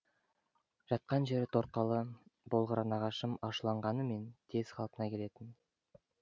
жатқан жері торқалы болғыр нағашым ашуланғанымен тез қалпына келетін